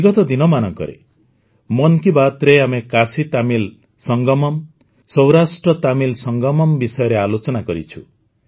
ବିଗତ ଦିନମାନଙ୍କରେ ମନ୍ କି ବାତ୍ରେ ଆମେ କାଶୀତାମିଲ୍ ସଙ୍ଗମମ୍ ସୌରାଷ୍ଟ୍ରତାମିଲ ସଙ୍ଗମମ୍ ବିଷୟରେ ଆଲୋଚନା କରିଛୁ